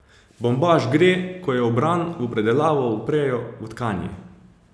Bombaž gre, ko je obran, v predelavo, v prejo, v tkanje.